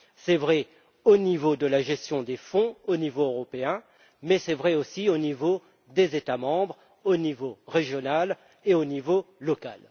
C'est vrai pour la gestion des fonds au niveau européen, mais c'est aussi vrai au niveau des États membres, au niveau régional et au niveau local.